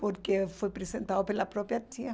porque foi apresentado pela própria tia.